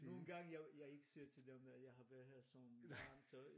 Nogen gange jeg ikke siger til dem at jeg har været her så mange så